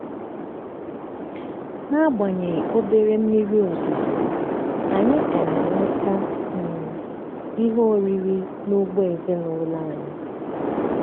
n'agbanyeghị obere mmiri ozuzo anyị ka na-enweta um ihe oriri n'ugbo ezinụlọ anyị.